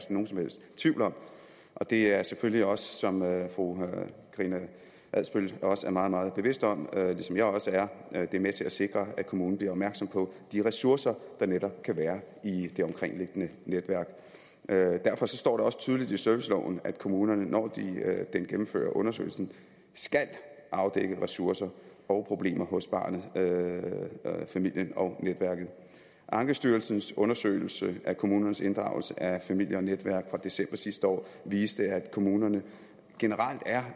nogen som helst tvivl om det er selvfølgelig også som fru karina adsbøl er meget meget bevidst om ligesom jeg også er med til at sikre at kommunen bliver opmærksom på de ressourcer der netop kan være i det omkringliggende netværk derfor står det også tydeligt i serviceloven at kommunen når den gennemfører undersøgelsen skal afdække ressourcer og problemer hos barnet familien og netværket ankestyrelsens undersøgelse af kommunernes inddragelse af familie og netværk fra december sidste år viste at kommunerne generelt er